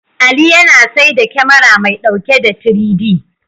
Ali yana saida kyamara mai ɗauke da 3-D.